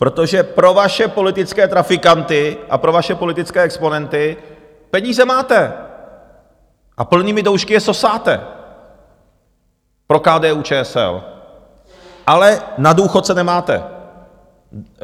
Protože pro vaše politické trafikanty a pro vaše politické exponenty peníze máte a plnými doušky je sosáte pro KDU-ČSL, ale na důchodce nemáte.